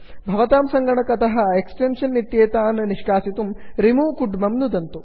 भवतां सङ्गणकतः एक्टेन्षन् इत्येतान् निष्कासितुं रिमूव रिमूव् कुड्मं नुदन्तु